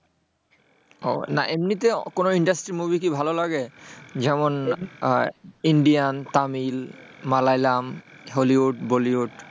উহ না এমনিতে কোন industry র movie কি ভালো লাগে? যেমন ইন্ডিয়ান, তামিল, মালয়ালাম, হলিউড, বলিউড?